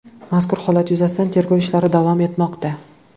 Mazkur holat yuzasidan tergov ishlari davom etmoqda.